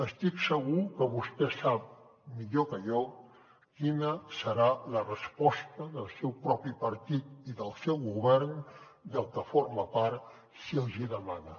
estic segur que vostè sap millor que jo quina serà la resposta del seu propi partit i del seu govern del que forma part si els hi demana